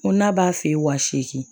N ko n'a b'a feere wa seegin